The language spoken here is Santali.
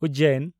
ᱩᱡᱽᱡᱚᱭᱤᱱ